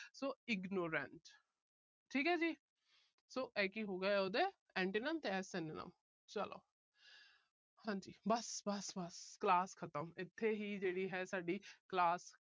so ignorant ਠੀਕ ਆ ਜੀ। so ਇਹ ਕੀ ਹੋ ਗਏ ਇਹਦੇ antonyms ਇਹ synonyms ਚਲੋ। ਹਾਂ ਜੀ ਬਸ। ਬਸ। ਬਸ। class ਖਤਮ। ਇੱਥੇ ਹੀ ਹੈ ਜਿਹੜੀ ਤੁਹਾਡੀ class